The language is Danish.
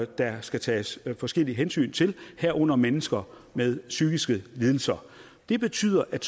der skal tages forskellige hensyn til herunder mennesker med psykiske lidelser det betyder at